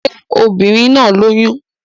Ṣé obìnrin náà lóyún?